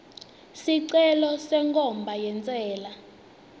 sicelo senkhomba yentsela